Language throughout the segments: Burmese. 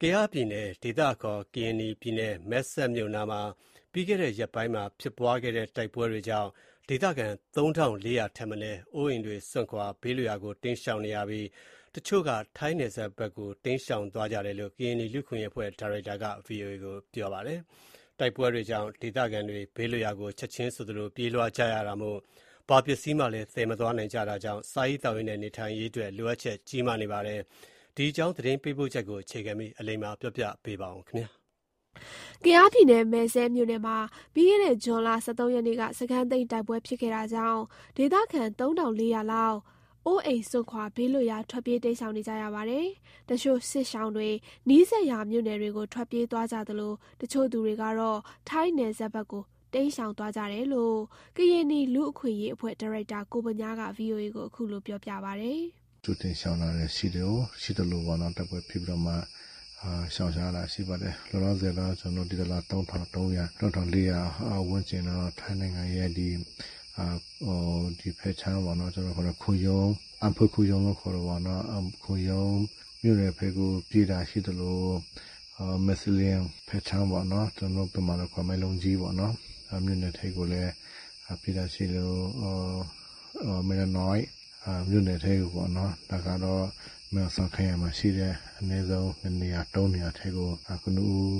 ကယားပြည်နယ်၊ ဒေသအခေါ် ကရင်နီပြည်နယ် မယ်စဲ့မြို့နယ်မှာ ပြီးခဲ့တဲ့ ရက်ပိုင်းမှာ ဖြစ်ပွားခဲ့တဲ့ တိုက်တွေပွဲကြောင့် ဒေသခံ ၃,၄၀၀ ထက်မနည်း အိုးအိမ်စွန့်ခွာ ဘေးလွတ်ရာကို တိမ်းရှောင်နေရပြီး တချို့က ထိုင်းနယ်စပ်ဖက်ကို တိမ်းရှောင်သွားကြတယ်လို့ ကရင်နီလူ့အခွင့်အရေးအဖွဲ့ ဒါရိုက်တာက ဗွီအိုအေကို ပြောပါတယ်။ တိုက်ပွဲကြောင့် ဒေသခံတွေ ဘေးလွတ်ရာကို ချက်ချင်းဆိုသလို ပြေးလွှားကြရတာမို့ ဘာပစ္စည်းမှ သယ်မသွားနိုင်ကြတာကြောင့် စားရေးသောက်ရေးနဲ့ နေထိုင်ခင်းအတွက် လိုအပ်ချက် ကြီးမားနေပါတယ်။ ဒီအကြောင်း သတင်းပေးပို့ချက်ကို အခြေခံပြီး အလိမ္မာက ပြောပြပါမယ်။ ကယားပြည်နယ်၊ မယ်စဲ့မြို့နယ်မှာ ပြီးခဲ့တဲ့ ဇွန် ၁၃ ရက်နေ့က စခန်းသိမ်းတိုက်ပွဲ ဖြစ်ခဲ့တာကြောင့် ဒေသခံ ၃,၄၀၀ လောက် အိုးအိမ်စွန့်ခွာ ဘေးလွတ်ရာ ထွက်ပြေးတိမ်းရှောင်နေကြရပါတယ်။ တချို့စစ်ရှောင်တွေက နီးစပ်ရာမြို့နယ်တွေကို ထွက်ပြေးသွားကြသလို၊ တချို့သူတွေကတော့ ထိုင်းနယ်စပ်ဘက်ကို တိမ်းရှောင်သွားကြတယ်လို့ ကရင်နီလူ့အခွင့်အရေးအဖွဲ့ ဒါရိုက်တာ ကိုဗညားက ဗွီအိုအေကို ခုလို ပြောပါတယ်။ “ကြိုတင်ရှောင်တာရှိသလိုပေါ့နော်၊ တိုက်ပွဲဖြစ်ပြီးတော့မှ ရှောင်ရှားလာတာ ရှိပါတယ်။ လောလောဆယ်တော့ ကျနော်တို့ သိသလောက် ၃,၃၀၀ ၊ ၃,၄၀၀ ဝန်းကျင်လောက်တော့ ထိုင်းနိုင်ငံရဲ့ ဒီဖက်ခြမ်းပေါ့နော် ကျနော်တို့ ခေါ်တာ ခွန်ရုံ၊ အန်ဖွေခွန်ရုံလို့ ခေါ်တာပေါ့နော်၊ ခွန်ရုံမြို့နယ်ဖက်ကို ပြေးလာတာရှိသလို၊ မဲစရီးရန်းဘက်ခြမ်းပေါ့နော်၊ ကျနော်တို့ဗမာလိုခေါ် မယ်လုံကြီးပေါ့နော်၊ မြို့နယ်ထဲကိုလည်း ပြေးတာရှိသလို၊ မယ်ရနွိုက် မြို့နယ်ထဲကိုပေါ့နော်။ ဒါကတော့ မဲဟောင်စောင် ခရိုင်မှာရှိတဲ့ အနည်းဆုံး ၂နေရာ ၃နေရာထဲကို ကနဦး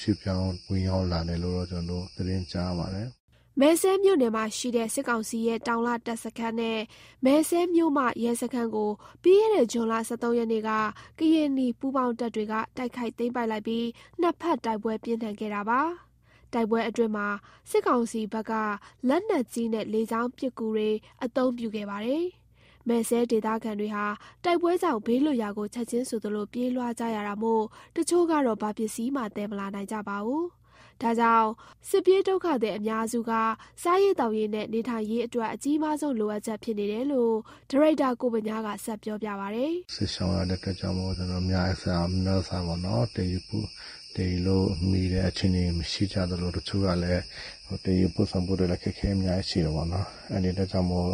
ရွှေ့ပြောင်း ဝင်ရောက်လာတယ်လို့ ကျနော်တို့ သတင်းကြားပါတယ်။” မယ်စဲ့မြို့နယ်ရှိ စစ်ကောင်စီရဲ့ တောင်လတပ်စခန်းနဲ့ မယ်စဲ့မြို့မ ရဲစခန်းကို ပြီးခဲ့တဲ့ ဇွန်လ ၁၃ ရက်နေ့က ကရင်နီပူးပေါင်းတပ်တွေက တိုက်ခိုက်သိမ်းပိုက်လိုက်ပြီး နှစ်ဖက် တိုက်ပွဲပြင်းထန်ခဲ့တာပါ။ တိုက်ပွဲအတွင်းမှာ စစ်ကောင်စီဘက်က လက်နက်ကြီးနဲ့ လေကြောင်းပစ်ကူတွေ အသုံးပြုခဲ့ပါတယ်။ မယ်စဲ့ဒေသခံတွေဟာ တိုက်ပွဲကြောင့် ဘေးလွတ်ရာကို ချက်ချင်းဆိုသလို ပြေးလွှားကြရတာမို့ တချို့ကတော့ ဘာပစ္စည်းမှ သယ်မလာနိုင်ကြပါဘူး။ ဒါကြောင့် စစ်ပြေးဒုက္ခသည် အများစုက စားရေးသောက်ရေးနဲ့ နေထိုင်ရေးအတွက် အကြီးမားဆုံး လိုအပ်ချက်ဖြစ်နေတယ်လို့ ဒါရိုက်တာ ကိုဗညားက ဆက်ပြောပါတယ်။ “စစ်ရှောင်ရတဲ့အတွက်ကြောင့်မို့ ကျနော်တို့ များများပေါ့နော် သယ်ယူလို့မှီတဲ့ အခြေအနေမရှိကြသလို၊ တချို့ကလည်း သယ်ယူပို့ဆောင်ဖို့ အခက်အခဲ အများကြီးရှိတာပေါ့နော်။ အဲ့ဒီအတွက်ကြောင့်မို့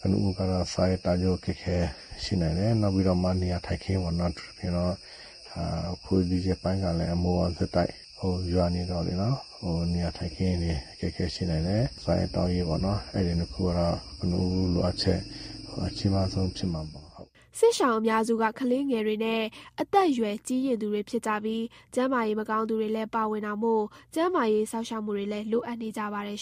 ကနဦးက စားရေးသောက်ရေး အခက်အခဲရှိနိုင်တယ်။ နောက်ပြီးတော့မှ နေရာထိုင်းခင်းပေါ့နော်၊ အထူးသဖြင့်တော့ ဒီရက်ပိုင်းကလည်း မိုးက ဆက်တိုက်ရွာနေတော့လေနော်၊ နေရာထိုင်ခင်းတွေ အခက်အခဲ ရှိနိုင်တယ်။ စားရေးသောက်ရေးပေါ့နော် အဲ့ဒီနှစ်ခုကတော့ ကနဦးလိုအပ်ချက် အကြီးမားဆုံးဖြစ်မှာပေါ့ ဟုတ်။” စစ်ရှောင်အများစုက ကလေးသူငယ်နဲ့ အသက်အရွယ်ကြီးရင့်သူတွေ ဖြစ်ကြပြီး၊ ကျန်းမာရေးမကောင်းသူတွေလည်း ပါဝင်တာမို့ ကျန်းမာရေး စောင့်ရှောက်မှုလည်း လိုအပ်နေကြပါတယ်